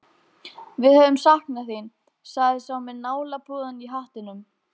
Við höfum saknað þín, sagði sá með nálapúðann í hattinum.